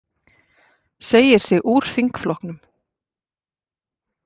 Segir sig úr þingflokknum